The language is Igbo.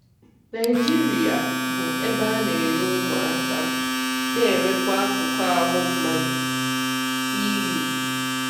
Naijiria bụ ebe a na-ere ụmụaka na-erekwa akụkụ ahụ mmadụ-EU